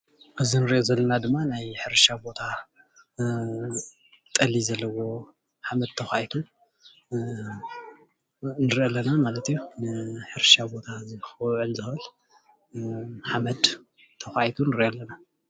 እዚ እንሪኦ ዘለና ድማ ናይ ሕርሻ ቦታ ጠሊ ዘለዎ ሓመድ ተኳዒቱ ንሪኢ ኣለና ማለት እዩ፡፡ ሕርሻ ቦታ ክውዕል ዝክእል ሓመድ ተኳዒቱ ንርኢ ኣለና፡፡